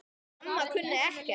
Mamma kunni ekkert.